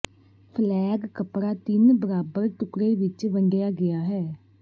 flag ਕੱਪੜਾ ਤਿੰਨ ਬਰਾਬਰ ਟੁਕੜੇ ਵਿੱਚ ਵੰਡਿਆ ਗਿਆ ਹੈ